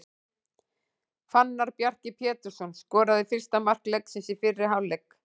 Fannar Bjarki Pétursson skoraði fyrsta mark leiksins í fyrri hálfleik.